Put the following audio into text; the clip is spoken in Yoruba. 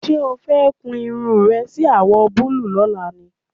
Ṣé o fẹ́ kun irun rẹ sí àwọ̀ búlúù lọ́la ni?